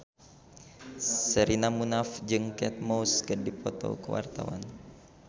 Sherina Munaf jeung Kate Moss keur dipoto ku wartawan